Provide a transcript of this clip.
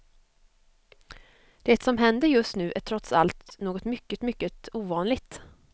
Det som händer just nu är trots allt något mycket, mycket ovanligt.